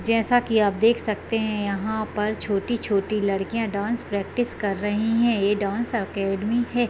जैसा की आप देख सकते हैं यहाँ पर छोटी-छोटी लड़कियाँ डांस प्रैक्टिस कर रहीं हैं ये डांस अकाडेमी है।